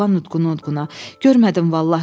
Oğlan udquna-udquna: "Görmədim vallah" dedi.